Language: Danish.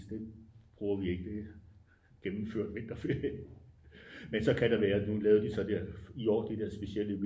Det bruger vi ikke det er gennemført vinterferie men så kan der være nu lavede de så der i år de der specielle